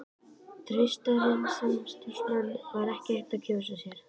Traustari samstarfsmann var ekki hægt að kjósa sér.